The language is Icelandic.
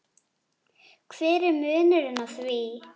hver er munurinn á því?